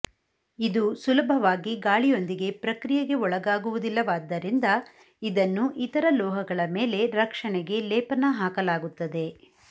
ಇದು ಸುಲಭವಾಗಿ ಗಾಳಿಯೊಂದಿಗೆ ಪ್ರಕ್ರಿಯೆಗೆ ಒಳಗಾಗುವುದಿಲ್ಲವಾದುದರಿಂದ ಇದನ್ನು ಇತರ ಲೋಹಗಳ ಮೇಲೆ ರಕ್ಷಣೆಗೆ ಲೇಪನ ಹಾಕಲಾಗುತ್ತದೆ